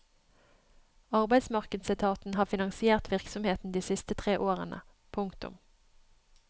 Arbeidsmarkedsetaten har finansiert virksomheten de siste tre årene. punktum